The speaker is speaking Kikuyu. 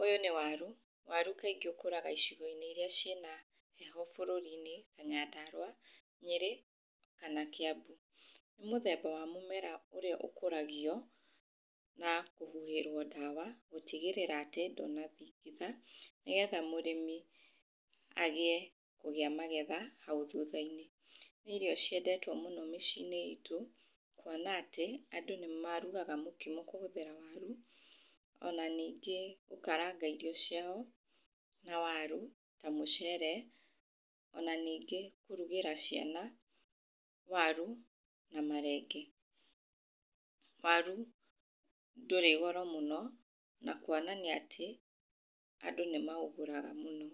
ũyũ nĩ waru, waru kaingĩ ũkũraga icigo-inĩ iria ciĩna heho bũrũri-inĩ ta nyandarua, Nyĩrĩ, kana kĩambu. Nĩ mũthemba wa mũmera ũrĩa ũkũragio na kũhuhĩrwo ndawa gũtigĩrĩra atĩ ndunathingitha nĩgetha mũrĩmi agĩe kũgĩa magetha hau thutha-inĩ, nĩ irio ciendendwo mũno mĩciĩ-inĩ itũ, kuona atĩ andũ nĩ marugaga mũkimo kũhũthĩra waru, ona ningĩ gũkaranga irio ciao na waru, na mũcere, ona ningĩ kũrugĩra ciana waru na marenge, waru ndũrĩ goro mũno, na kuonania atĩ, andũ nĩ maũgũraga mũno.